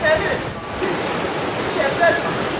Nə bilim, gün çıxıb, çiçəklər açıb.